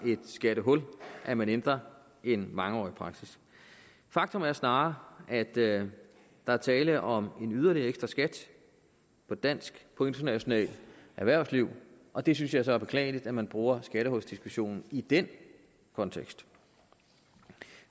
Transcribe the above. et skattehul at man ændrer en mangeårig praksis faktum er snarere at der er tale om en yderligere skat på dansk og international erhvervsliv og det synes jeg så er beklageligt at man bruger skattehulsdiskussionen i den kontekst